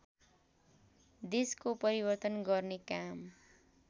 देशको परिवर्तन गर्ने काम